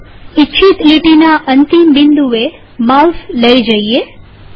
ચાલો ઇચ્છિત લીટીના અંતિમ બિંદુએ માઉસ લઇ જઈએ